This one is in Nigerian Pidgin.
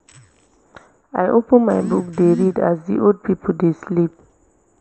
i open my book dey read as the old people dey sleep